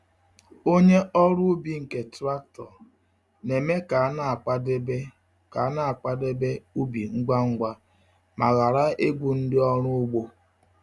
Onye ọrụ ubi nke traktọ na-eme ka a na-akwadebe ka a na-akwadebe ubi ngwa ngwa ma ghara ịgwụ ndị ọrụ ugbo.